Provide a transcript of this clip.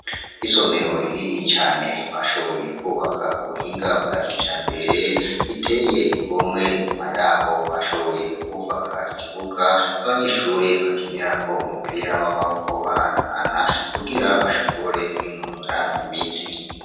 Isomero rinini cane bashoboye kubaka ku buhinga bwa kijambere riteye igomwe inyuma yaho bashoboye kuhubaka igibuga abanyeshure bakinirako umupira w'amaboko bahanahana kugira bashobore kwinonora imitsi.